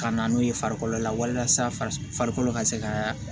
Ka na n'o ye farikolo la walasa farikolo ka se ka